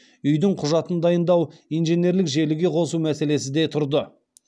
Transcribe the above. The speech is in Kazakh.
үи дің құжатын даи ындау инженерлік желіге қосу мәселесі де тұрды